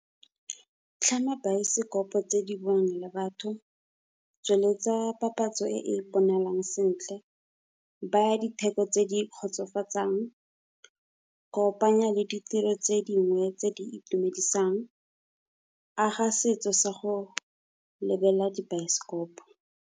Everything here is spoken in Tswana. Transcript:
Tlhama baesekopo tse di bongwe le batho. Tsweletsa papatso e e bonalang sentle, baa ditheko tse di kgotsofatsang. Kopanya le ditiro tse dingwe tse di itumedisang. Aga setso sa go lebelela dibaesekopo.